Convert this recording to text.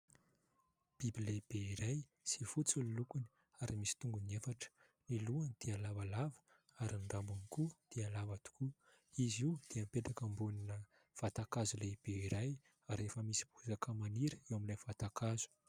Biby lehibe iray izay fotsy ny lokony ary misy tongony efatra, ny lohany dia lavalava ary ny rambony koa dia lava tokoa. Izy io dia mipetraka ambonina vatankazo lehibe iray ary efa misy bozaka maniry eo amin'ilay vatankazo.